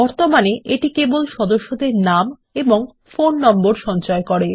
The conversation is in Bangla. বর্তমানে এটি কেবল সদস্যদের নাম ও ফোন নম্বর সঞ্চয় করে